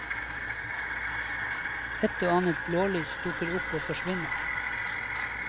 Ett og annet blålys dukker opp og forsvinner.